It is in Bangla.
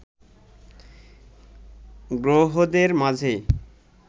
গ্রহদের মাঝে